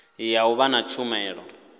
ya u vha na tshumelo